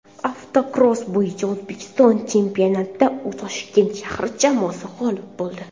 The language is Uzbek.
Avtokross bo‘yicha O‘zbekiston chempionatida Toshkent shahri jamoasi g‘olib bo‘ldi.